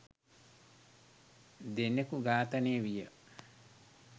දෙනකු ඝාතනය විය